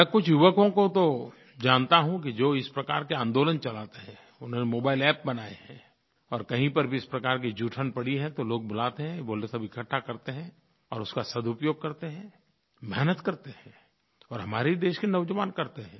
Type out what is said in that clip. मैं कुछ युवकों को तो जानता हूँ कि जो इस प्रकार के आंदोलन चलाते हैं उन्होंने मोबाइल App बनाए हैं और कहीं पर भी इस प्रकार की जूठन पड़ी है तो लोग बुलाते हैं वो लोग सब इकठ्ठा करते हैं और इसका सदुपयोग करते हैं मेहनत करते हैं और हमारे ही देश के नौजवान ही करते हैं